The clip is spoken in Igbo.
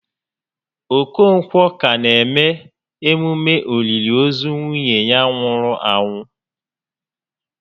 Okonkwọ ka na eme emume òlìlì ozu nwunye ya nwụrụ anwụ